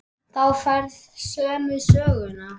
Þá færðu sömu söguna.